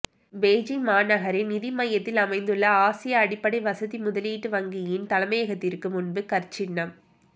Beijing மாநகரின் நிதி மையத்தில் அமைந்துள்ள ஆசிய அடிப்படை வசதி முதலீட்டு வங்கியின் தலைமையகத்திற்கு முன்பு கற்சின்னம்